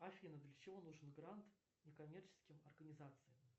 афина для чего нужен грант некоммерческим организациям